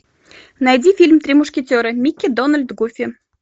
найди фильм три мушкетера микки дональд гуфи